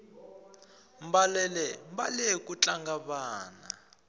mbalele mbale ku tlanga vana